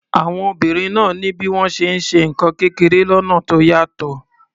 Àwọn obìnrin náà ní bí wọ́n ṣe ń ṣe nǹkan kékeré lọ́nà tó yàtọ̀.